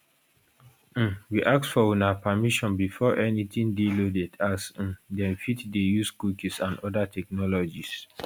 um we ask for una permission before anytin dey loaded as um dem fit dey use cookies and oda technologies